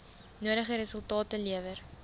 nodige resultate lewer